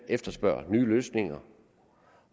efterspørger nye løsninger